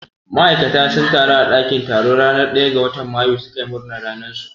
Ma'aikata sun taru a ɗakin taro ranar ɗaya ga watan mayu su ka yi murna ranar su.